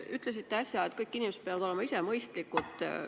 Ütlesite äsja, et kõik inimesed peavad olema ise mõistlikud.